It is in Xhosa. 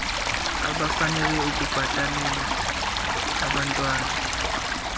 abafanele ukubhatalela abantwan